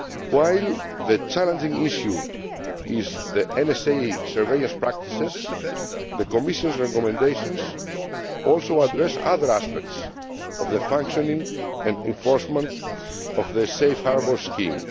While the challenging issue is the NSA surveillance practices, the Commission's recommendations also address other aspects of the functioning and enforcement of the Safe Harbour scheme.